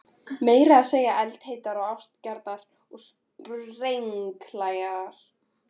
Meira að segja eldheitar ástarjátningar voru sprenghlægilegar.